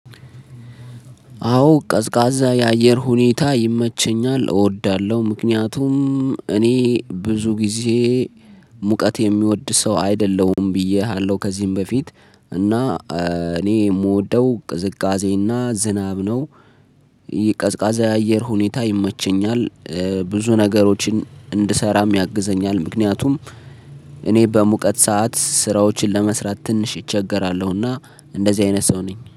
አዎ ቀዝቃዛ የአየር ሁኔታ ይመቸኛል፤ እወዳለሁ ምክንያቱም እኔ ብዙ ጊዜ ሙቀት የሚወድ ሰው አይደለሁም ብዬሃለሁ ከዚህም በፊት፤ እና እኔ የምወደው ቅዝቃዜና ዝናብ ነው። የቀዝቃዛ የአየር ሁኔታ ይመቸኛል ብዙ ነገሮችን እንድሰራም ያግዘኛል። ምክንያቱም እኔ በሙቀት ሰዓት ስራዎችን ለመስራት ትንሽ እቸገራለሁና እንደዚህ አይነት ሰው ነኝ።